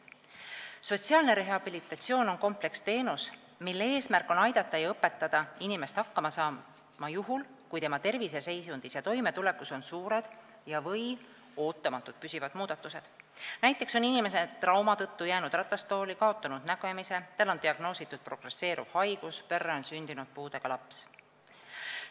Sotsiaalne rehabilitatsioon on kompleksteenus, mille eesmärk on aidata ja õpetada inimest hakkama saama juhul, kui tema terviseseisundis ja toimetulekus on suured ja/või ootamatud püsivad muudatused, näiteks on inimene trauma tõttu jäänud ratastooli, kaotanud nägemise, tal on diagnoositud progresseeruv haigus, perre on sündinud puudega laps.